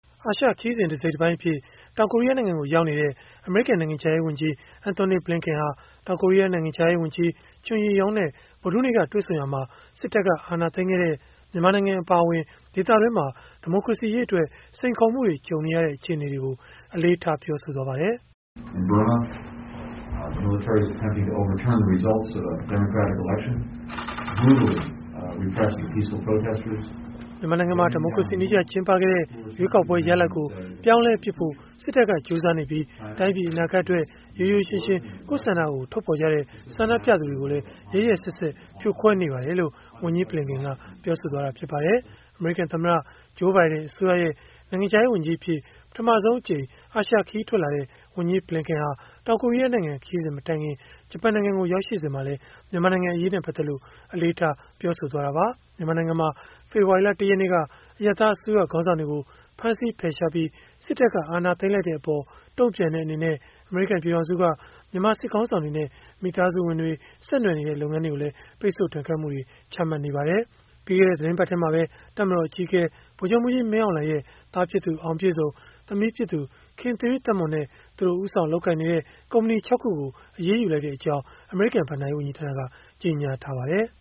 အာရှခရီးစဉ် တစိတ်တပိုင်းအဖြစ် တောင်ကိုရီးယားနိုင်ငံကို ရောက်နေတဲ့ အမေရိကန် နိုင်ငံခြားရေး ဝန်ကြီး Antony Blinken ဟာ တောင်ကိုရီးယား နိုင်ငံခြားရေးဝန်ကြီး Chung Eui-yong နဲ့ ဗုဒ္ဓဟူးနေ့က တွေ့ဆုံခဲ့ရာမှာ စစ်တပ်က အာဏာသိမ်းခဲ့တဲ့ မြန်မာနိုင်ငံ အပါအဝင် ဒေသတွင်းမှာ ဒီမိုကရေစီရေးအတွက် စိန်ခေါ်မှုတွေ ကြုံနေရတဲ့ အခြေအနေတွေကို အလေးထား ပြောဆိုသွားပါတယ်။ "မြန်မာနိုင်ငံမှာ ဒီမိုကရေစီနည်းကျ ကျင်းပခဲ့တဲ့ ရွေးကောက်ပွဲ ရလဒ်ကို ပြောင်းလဲပစ်ဖို့ စစ်တပ်က ကြိုးစားနေပြီး၊ တိုင်းပြည် အနာဂတ်အတွက် ရိုးရိုးရှင်းရှင်း ကိုယ့်ဆန္ဒကို ထုတ်ဖော်ကြတဲ့ ဆန္ဒပြသူတွေကိုလည်း ရက်ရက်စက်စက် ဖြိုခွဲနေပါတယ်။" လို့ ဝန်ကြီး Blinken က ပြောပါတယ်။ အမေရိကန်သမ္မတ Joe Biden အစိုးရရဲ့ နိုင်ငံခြားရေးဝန်ကြီးအဖြစ် ပထမဆုံးအကြိမ် အာရှခရီးထွက်လာတဲ့ ဝန်ကြီး Blinken ဟာ တောင်ကိုရီးယားနိုင်ငံ ခရီးစဉ် မတိုင်ခင် ဂျပန်နိုင်ငံကို ရောက်ရှိစဉ်မှာလည်း မြန်မာနိုင်ငံ အရေးနဲ့ ပတ်သက်လို့ အလေးထား ပြောဆိုခဲ့တာပါ။ မြန်မာနိုင်ငံမှာ ဖေဖော်ဝါရီလ ၁ ရက်နေ့က အရပ်သားအစိုးရ ခေါင်းဆောင်တွေကို ဖမ်းဆီးဖယ်ရှားပြီး စစ်တပ်က အာဏာသိမ်းလိုက်တဲ့အပေါ် တုန့်ပြန်တဲ့အနေနဲ့ အမေရိကန် ပြည်ထောင်စုက မြန်မာစစ်ခေါင်းဆောင်တွေနဲ့ မိသားစုဝင်တွေ၊ ဆက်နွယ်နေတဲ့ လုပ်ငန်းတွေကိုလည်း ပိတ်ဆို့ဒဏ်ခတ်မှုတွေ ချမှတ်ထားပါတယ်။ ပြီးခဲ့တဲ့ သီတင်းပတ်ထဲမှာပဲ တပ်မတော်အကြီးအကဲ ဗိုလ်ချုပ်မှူးကြီး မင်းအောင်လှိုင်ရဲ့ သားဖြစ်သူ အောင်ပြည့်စုံ၊ သမီးဖြစ်သူ ခင်သီရိသက်မွန် နဲ့ သူတို့ ဦးဆောင်လုပ်ကိုင်နေတဲ့ ကုမ္ပဏီ ၆ ခုကို အရေးယူလိုက်ကြောင်း အမေရိကန် ဘဏ္ဍာရေးဝန်ကြီးဌာနက ကြေညာထားပါတယ်